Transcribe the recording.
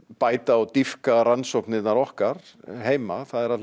bæta og dýpka rannsóknirnar okkar heima